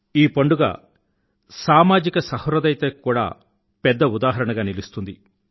ఈ పండుగ సామాజిక సహృదయతకి కూడా పెద్ద ఉదాహరణగా నిలుస్తుంది